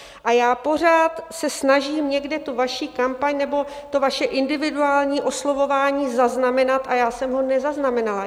A já se pořád snažím někde tu vaši kampaň nebo to vaše individuální oslovování zaznamenat a já jsem ho nezaznamenala.